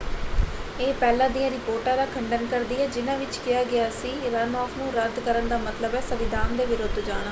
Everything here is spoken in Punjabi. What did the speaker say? ਇਹ ਪਹਿਲਾਂ ਦੀਆਂ ਰਿਪੋਰਟਾਂ ਦਾ ਖੰਡਨ ਕਰਦੀ ਹੈ ਜਿਨ੍ਹਾਂ ਵਿੱਚ ਕਿਹਾ ਗਿਆ ਸੀ ਕਿ ਰਨਆਫ਼ ਨੂੰ ਰੱਦ ਕਰਨ ਦਾ ਮਤਲਬ ਹੈ ਸੰਵਿਧਾਨ ਦੇ ਵਿਰੁੱਧ ਜਾਣਾ।